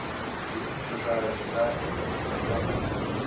фильм чужая жена и муж под кроватью